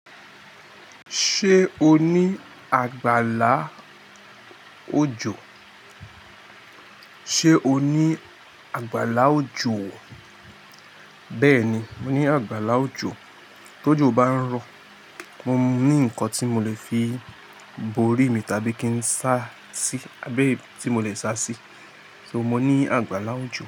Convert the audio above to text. Ṣé o ní àgbàlá òjò? Sé o ní àgbàlá òjò? Bẹ́ẹ̀ni, mo ní àgbàlá òjò. Tójò bá ń rọ, mo ní ǹkan tí mo lè fi borí mi tàbí kí n sá sí, abẹ tí mo lè sá sí. So mo ní àgbàlá òjò.